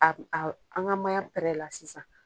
A a an ka mayan la sisan.